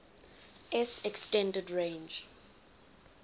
s extended range